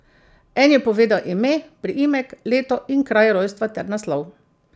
En je povedal ime, priimek, leto in kraj rojstva ter naslov.